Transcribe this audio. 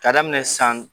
K'a daminɛ san